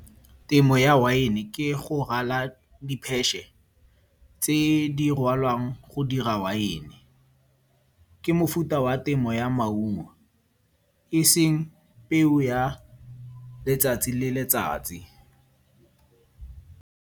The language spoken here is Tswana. Temo ya wine ke go rwala tse di rwalwang go dira wine. Ke mofuta wa temo ya maungo, eseng peo ya letsatsi le letsatsi.